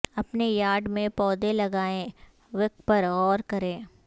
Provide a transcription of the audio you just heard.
اپنے یارڈ میں پودے لگائیں وک پر غور کریں